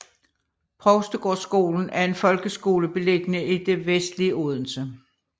Provstegårdskolen er en folkeskole beliggende i det vestlige Odense